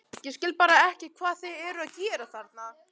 Ég skil bara ekki hvað þeir eru að gera þarna?